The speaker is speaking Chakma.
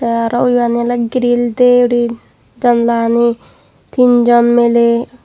tey aro ubani oley grill de uri jandala gani tinjon miley.